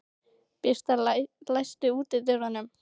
Birtir, læstu útidyrunum.